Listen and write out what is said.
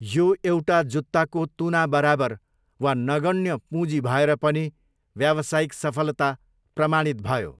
यो एउटा जुत्ताको तुना बराबर वा नगण्य पुँजी भएर पनि व्यावसायिक सफलता प्रमाणित भयो।